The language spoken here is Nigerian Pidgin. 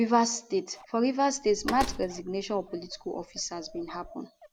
rivers statefor rivers state mass resignation of political officers bin happun